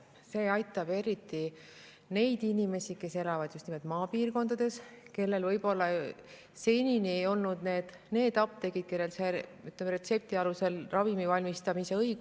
See aitab eriti neid inimesi, kes elavad maapiirkondades ja kellel võib-olla senini ei olnud kodukoha lähedal apteeki, kus võib retsepti alusel ravimeid valmistada.